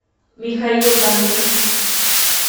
михаил дангыт